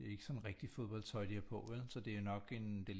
Det er ikke sådan rigtig fodboldtøj de har på vel så det er nok en det